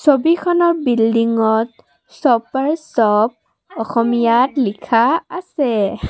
ছবিখনত বিল্ডিংত shoppers shop অসমীয়াত লিখা আছে।